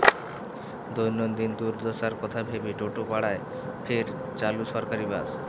দৈনন্দিন দুর্দশার কথা ভেবে টোটোপাড়ায় ফের চালু সরকারি বাস